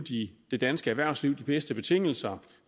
det danske erhvervsliv de bedste betingelser